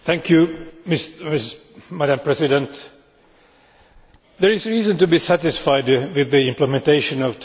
Madam President, there is reason to be satisfied with the implementation of Title 11 of the budget.